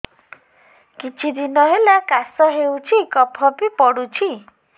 କିଛି ଦିନହେଲା କାଶ ହେଉଛି କଫ ବି ପଡୁଛି